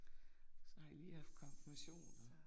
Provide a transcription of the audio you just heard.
Så har I lige haft konformation og